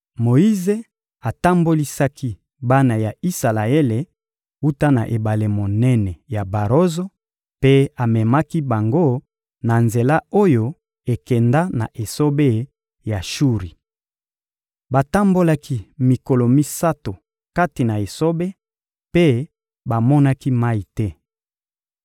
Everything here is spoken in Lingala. Moyize atambolisaki bana ya Isalaele wuta na ebale monene ya barozo mpe amemaki bango na nzela oyo ekenda na esobe ya Shuri. Batambolaki mikolo misato kati na esobe mpe bamonaki mayi te.